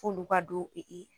F'olu ka don bi ye